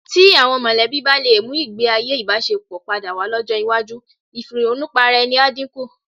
Tí àwọn mọ̀lẹ́bí bá lè mú ìgbéayé ìbáṣepọ̀ padà wá lọ́jọ́ iwájú, ìfìrònùparaẹni á dínkù.